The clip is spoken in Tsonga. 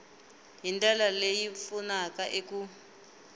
hi ndlela leyi pfunaka eku